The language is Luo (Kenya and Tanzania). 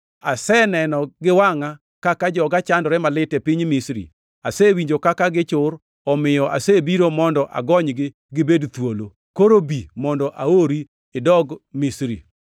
Aseneno gi wangʼa kaka joga chandore malit e piny Misri. Asewinjo kaka gichur omiyo asebiro mondo agonygi gibed thuolo; koro bi mondo aori idogi Misri!’ + 7:34 \+xt Wuo 3:5,7,8,10\+xt*